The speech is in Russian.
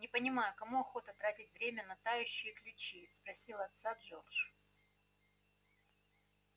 не понимаю кому охота тратить время на тающие ключи спросил отца джордж